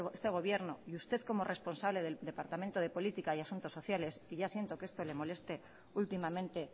este gobierno y usted como responsable del departamento de política y asuntos sociales que ya siento que esto le moleste últimamente